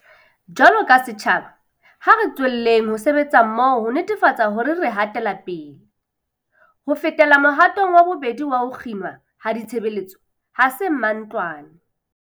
Jwaloka setjhaba, ha re tswelleng ho sebetsa mmoho ho netefatsa hore re hatela pele. Ho fetela mohatong wa bobedi wa ho kginwa ha ditshebeletso, ha se mantlwane.